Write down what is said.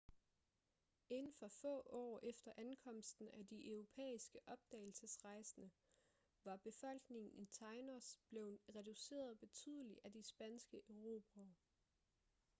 inden for få år efter ankomsten af de europæiske opdagelsesrejsende var befolkningen i tainos blevet reduceret betydeligt af de spanske erobrere